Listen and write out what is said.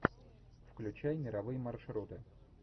включай мировые маршруты